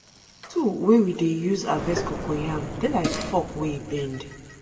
the tool wey we dey use harvest cocoyam dey like fork wey bend